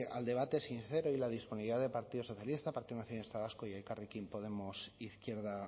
al debate sincero y la disponibilidad de partido socialista partido nacionalista vasco y elkarrekin podemos izquierda